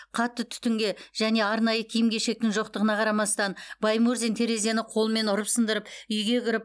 қатты түтінге және арнайы киім кешектің жоқтығына қарамастан баймурзин терезені қолмен ұрып сындырып үйге кіріп